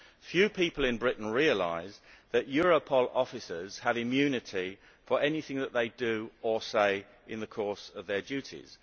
Few people in Britain realise that Europol officers have immunity for anything that they do or say in the course of their duties.